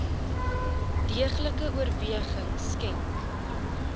deeglike oorweging skenk